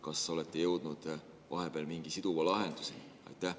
Kas olete jõudnud vahepeal mingi siduva lahenduseni?